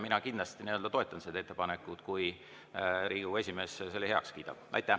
Mina kindlasti toetan seda ettepanekut, kui Riigikogu esimees selle heaks kiidab.